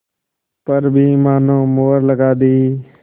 पर भी मानो मुहर लगा दी